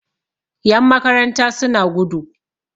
Yanmakaranta suna gudu